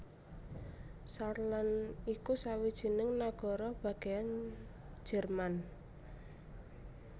Saarland iku sawijining nagara bagéyan Jerman